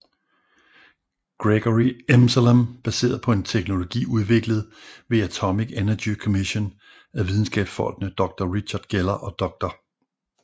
Gregory Emsellem baseret på teknologi udviklet ved Atomic Energy Commission af videnskabsfolkene Dr Richard Geller og Dr